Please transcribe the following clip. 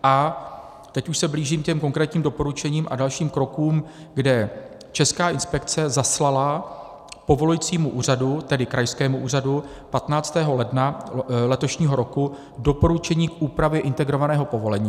A teď už se blížím ke konkrétním doporučením a dalším krokům, kde Česká inspekce zaslala povolujícímu úřadu, tedy krajskému úřadu, 15. ledna letošního roku doporučení k úpravě integrovaného povolení.